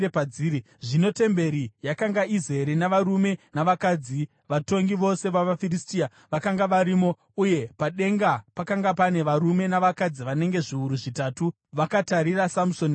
Zvino temberi yakanga izere navarume navakadzi; vatongi vose vavaFiristia vakanga varimo uye padenga pakanga pane varume navakadzi vanenge zviuru zvitatu vakatarira Samusoni achitamba.